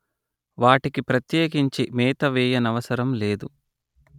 వాటికి ప్రత్యేకించి మేత వేయ నవసరం లేదు